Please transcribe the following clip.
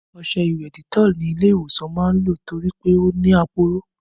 Ọṣẹ ìwẹ̀ Dettol ni ilé ìwòsàn máa ń lò torí pé ó ní aporó